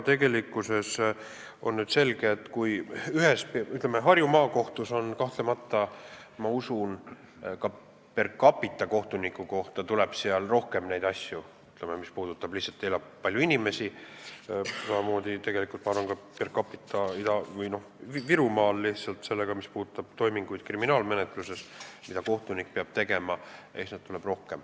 Tegelikult on selge, et Harju Maakohtus kahtlemata, ma usun, ka per capita, kohtuniku kohta, on rohkem asju, sest seal piirkonnas lihtsalt elab palju inimesi, samamoodi ma arvan ka, et Virumaal on rohkem kriminaalmenetluse toiminguid, mida kohtunik peab tegema.